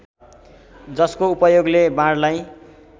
जसको उपयोगले बाणलाई